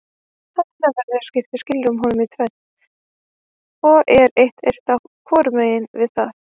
Að innanverðu skiptir skilrúm honum í tvennt og er eitt eista hvorum megin við það.